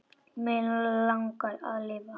Mig langar að lifa.